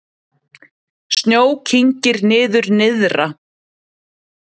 Snjó kyngir niður nyrðra